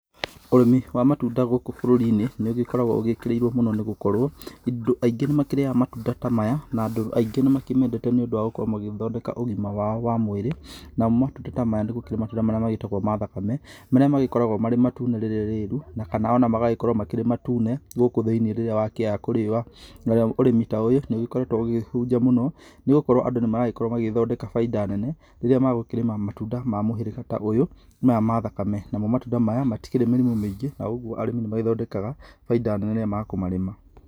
Ũrĩmi wa matunda gũkũ bũrũri-inĩ, nĩ ũgĩkoragwo ũgĩkĩrĩirwo mũno nĩ gũkorwo andũ aingĩ nĩ makĩriaga matunda ta maya. Na andũ aingĩ nĩ makĩmendete nĩ ũndũ wa gũkorwo magĩthondeka ũgima wao wa mwĩrĩ. Namo matunda ta maya nĩ gũkĩrĩ matunda maria magĩtagwo ma thakame, marĩa magĩkoragwo marĩ matune rĩrĩ rĩru kana ona magagĩkorwo marĩ matune gũkũ thĩinĩ rĩrĩa wakĩaha kũriũa. Narĩo ũrĩmi ta ũyũ nĩ ũgĩkoretwo ũkĩhunja mũno nĩ gũkorwo andũ nĩ maragĩkorwo magĩthondeka bainda nene, rĩria magũkĩrĩma matunda ma mũhĩrĩga ta ũyũ maya ma thakame. Namo matunda ta maya matikĩrĩ mĩrimũ mĩingĩ na ũguo arĩmi nĩ magĩthondekaga bainda nene rĩrĩa makũmarĩma.